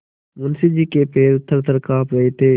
मुंशी जी के पैर थरथर कॉँप रहे थे